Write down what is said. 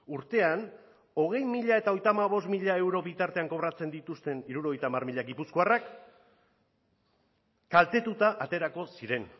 urtean hogei mila eta hogeita hamabost mila euro bitartean kobratzen dituzten hirurogeita hamar mila gipuzkoarrak kaltetuta aterako ziren